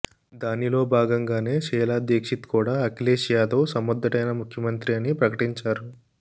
దానిలో భాగంగానే షీలా దీక్షిత్ కూడా అఖిలేష్ యాదవ్ సమర్ధుడైన ముఖ్యమంత్రి అని ప్రకటించారు